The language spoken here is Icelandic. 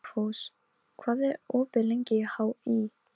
Dugfús, hvað er opið lengi í HÍ?